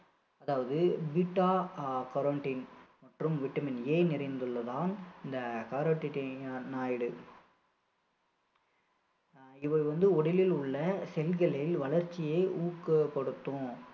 அதாவது beta-carotene மற்றும் vitamin A நிறைந்துள்ளதால் இந்த இது வந்து உடலில் உள்ள செல்களில் வளர்ச்சியை ஊக்கப்படுத்தும்